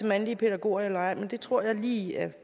mandlige pædagoger eller ej men det tror jeg lige at